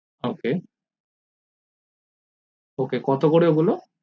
ok ok কত করে ওগুলো